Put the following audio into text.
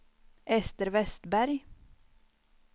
Ester Vestberg